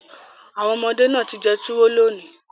Awon omode naa ti jẹ tuwo loni